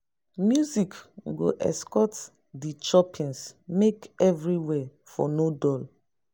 music go escort di choppings make evriwhere for no dull